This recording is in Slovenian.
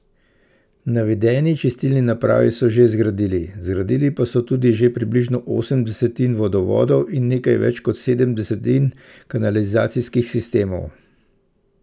Navedeni čistilni napravi so že zgradili, zgradili pa so tudi že približno osem desetin vodovodov in nekaj več kot sedem desetin kanalizacijskih sistemov.